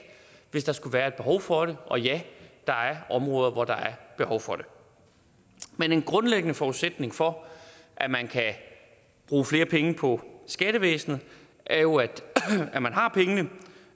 hvis der skulle være et behov for det og ja der er områder hvor der er behov for det men en grundlæggende forudsætning for at bruge flere penge på skattevæsenet er jo